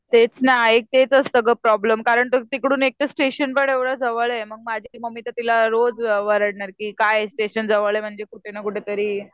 तेच ना एक तेच असतं गं प्रॉब्लेम कारण तिकडून एकतर स्टेशन पण एवढं जवळ आहे मग माझी मम्मी तर तिला रोज ओरडणार की काय स्टेशन जवळ आहे म्हणजे कुठेनाकुठेतरी